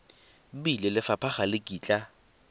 bile lefapha ga le kitla